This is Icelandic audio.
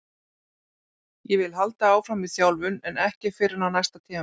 Ég vil halda áfram í þjálfun en ekki fyrr en á næsta tímabili.